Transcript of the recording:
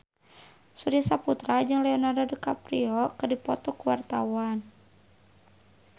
Surya Saputra jeung Leonardo DiCaprio keur dipoto ku wartawan